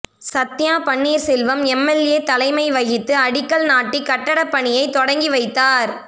Sathya Panneerselvam MLA தலைமை வகித்து அடிக்கல் நாட்டி கட்டடப் பணியை தொடக்கி வைத்தாா்